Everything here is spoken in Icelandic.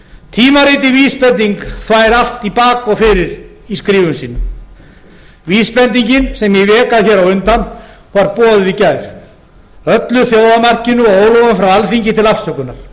tímaritið vísbending þvær allt í bak og fyrir í skrifum sínum vísbendingin sem ég vék að hér á undan var boðið í gær öllu þjófamarkinu og óróa frá alþingi til afsökunar